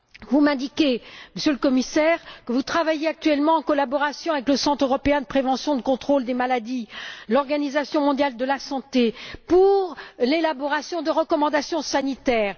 Vous m'indiquez, Monsieur le Commissaire, que vous travaillez actuellement en collaboration avec le Centre européen de prévention et de contrôle des maladies et l'Organisation mondiale de la santé, en vue de l'élaboration de recommandations sanitaires.